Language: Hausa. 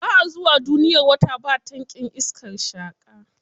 Ba a zuwa duniyar wata ba tankin iskar sheƙa.